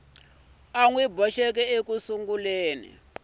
u n wi boxeke eka